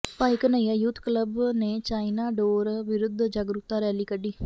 ਭਾਈ Ghanaiya youth club ਨੇ China ਡੋਰ ਵਿਰੁੱਧ ਜਾਗਰੂਕਤਾ ਰੈਲੀ ਕੱਢੀ